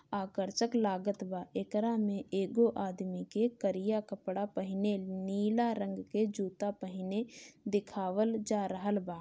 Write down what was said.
आकर्षक लागत बा एकरा में एगो आदमी के कारिया कपड़ा पहिने नीला रंग के जूता पहिने दिखावल जा रहल बा।